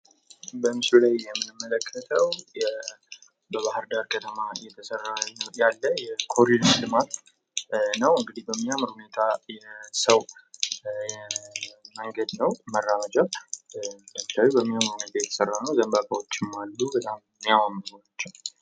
በምስሉ ላይ የምንመለከተው በባህር ዳር ከተማ እየተሰራ ያለ የ ኮሊደር ልማት ነው ። እንግዲህ በሚያምር ሁኔታ የሰው መንገድ ነው መራመጃ በሚያምር ሁኔታ የተሰራ ነው። በጣም የሚያማምሩ ናቸው ።